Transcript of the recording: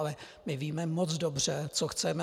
Ale my víme moc dobře, co chceme.